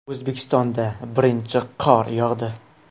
O‘zbekistonda birinchi qor yog‘di .